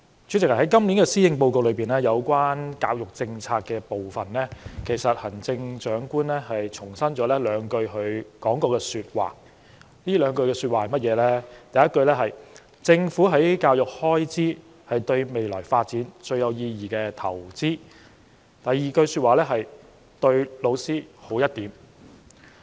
主席，在今年施政報告有關教育政策的部分，行政長官重申了她說過的兩句話，第一句是："政府在教育開支是對未來發展最有意義的投資"；第二句是："對老師好一點"。